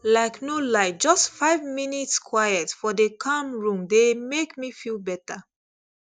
like no lie just five minutes quiet for dey calm room dey make me feel better